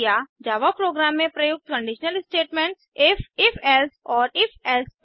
जावा program में प्रयुक्त conditional statements if if else और ifएल्से if